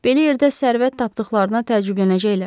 Belə yerdə sərvət tapdıqlarına təəccüblənəcəklər.